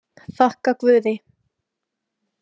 Þakka guði.